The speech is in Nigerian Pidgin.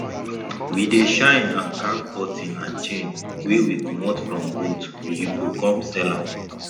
we dey shine and carv button and chain wey we comot from goat we go come sell am